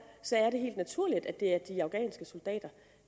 er det helt naturligt at det er de afghanske soldater